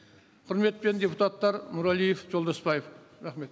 құрметпен депутаттар нұрәлиев жолдасбаев рахмет